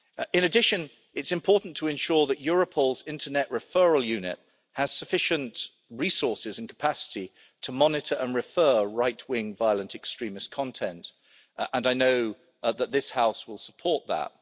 In addition, it's important to ensure that Europol's Internet Referral Unit has sufficient resources and capacity to monitor and refer right-wing violent extremist content, and I know that this House will support that.